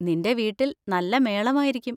നിന്‍റെ വീട്ടിൽ നല്ല മേളമായിരിക്കും.